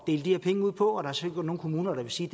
dele de her penge ud på og der sikkert nogle kommuner der vil sige